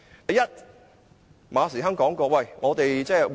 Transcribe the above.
第一，馬時亨說，我們會向前看。